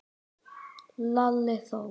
Lalli þó!